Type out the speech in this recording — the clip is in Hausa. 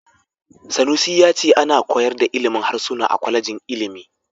Sanusi ya ce ana koyar da ilimin harsuna a kwalejin ilimi.